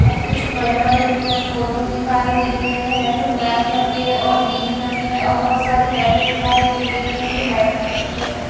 और कुछ बड़े-बड़े पेड़ पौधे दिखाई दे रहे है जो ब्लैक कलर के हैं और ग्रीन कलर के हैं और बहोत सारी लाइटें दिखाई दे रही हैं जो व्हाइट कलर की है।